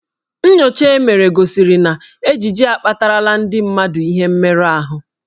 Nnyocha e mere gosiri na ejiji akpatarala ndị mmadụ ihe mmerụ ahụ.